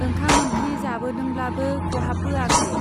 ओंखाम ओंख्रि जाबोदोंब्लाबो खहाबबोआखै।